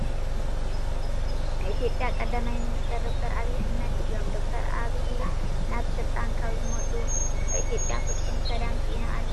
ናይ ኢትዮጵያ ቀዳማይ ሚኒስተር ዶ/ር ኣብይ አሕመድ እዮም። ዶ/ር ኣብይ ናብ ስልጣን ካብ ዝመፁ ኣብ ኢትዮጵያ ፍፁም ሰላም ሲኢና ኣላ።